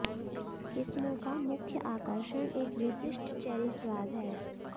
किस्मों का मुख्य आकर्षण एक विशिष्ट चेरी स्वाद है